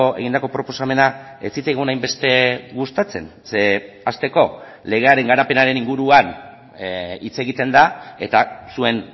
egindako proposamena ez zitzaigun hainbeste gustatzen zeren hasteko legearen garapenaren inguruan hitz egiten da eta zuen